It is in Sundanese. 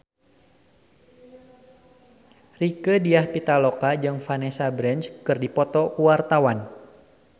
Rieke Diah Pitaloka jeung Vanessa Branch keur dipoto ku wartawan